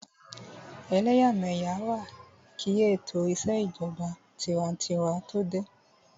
Ẹlẹ́yàmẹ́yà wà kí ètò ìṣèjọba tinwatinwa tó dé